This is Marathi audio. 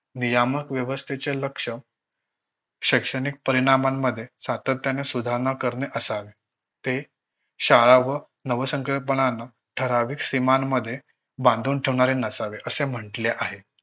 नियामक व्यवस्थेचे लक्ष्य, शैक्षणिक परिणामांमध्ये सातत्याने सुधारणा करणे असावे. ते शाळा व नवसंकल्पना ठराविक सीमांमध्ये मध्ये बांधून ठेवणारे नसावे असे म्हंटले आहे.